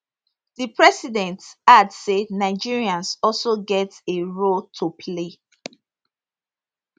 di president add say nigerians also get a role to play